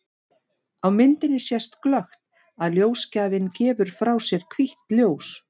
Á myndinni sést glöggt að ljósgjafinn gefur frá sér hvítt ljós.